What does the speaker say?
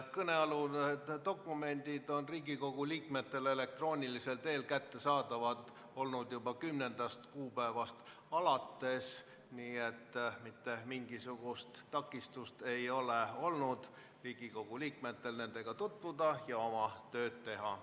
Kõnealused dokumendid on Riigikogu liikmetele elektroonilisel teel kättesaadavad olnud juba 10. kuupäevast alates, nii et mitte mingisugust takistust ei ole olnud Riigikogu liikmetel nendega tutvuda ja oma tööd teha.